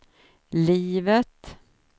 livet